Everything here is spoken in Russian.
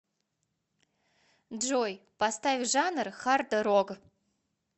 джой поставь жанр хардрог